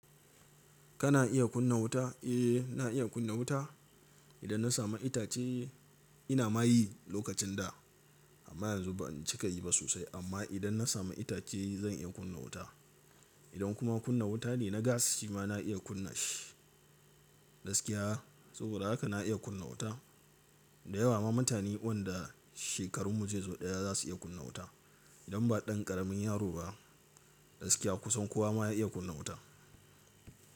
Kana iya kunna wuta? Eh, na iya kunna wuta. Idan na samu itace ina mayi lokacin da amma yanzu ban cika yi ba sosai. Amma idan na samu itace zan iya kunna wuta. Idan kuma kunna wuta ne na gas shi ma na iya kunna shi gaskiya. Saboda haka na iya kunna wuta. Da yawa ma mutane wadanda shekarun mu zai zo ɗaya za su iya kunna wuta idan ba ɗan ƙaramin yaro ba gaskiya kusan kowa ma ya iya kunna wuta.